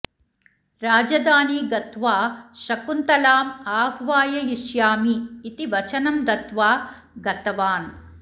राजधानी गत्वा शकुन्तलाम् आह्वाययिष्यामि इति वचनं दत्त्वा गतवान्